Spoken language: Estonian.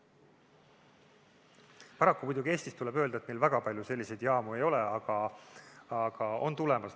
Paraku, muidugi Eestis, tuleb öelda, väga palju selliseid jaamu ei ole, aga need on tulemas.